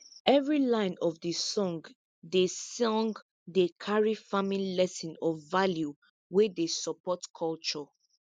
every line of de song dey song dey carry farming lesson or value wey dey support culture